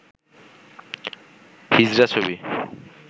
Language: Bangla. হিজড়া ছবি